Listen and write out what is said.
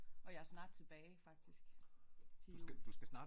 Og jeg er snart tilbage faktisk til jul